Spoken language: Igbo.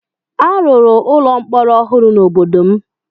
A rụrụ ụlọ mkpọrọ ọhụrụ n'obodo m